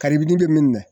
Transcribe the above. Karibini bɛ min minɛ